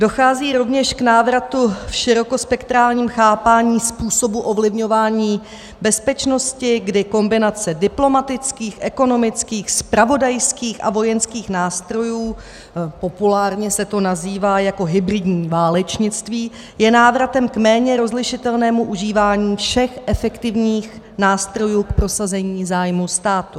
Dochází rovněž k návratu v širokospektrálním chápání způsobu ovlivňování bezpečnosti, kdy kombinace diplomatických, ekonomických, zpravodajských a vojenských nástrojů, populárně se to nazývá jako hybridní válečnictví, je návratem k méně rozlišitelnému užívání všech efektivních nástrojů k prosazení zájmů státu.